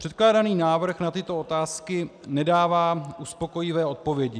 Předkládaný návrh na tyto otázky nedává uspokojivé odpovědi.